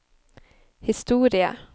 historie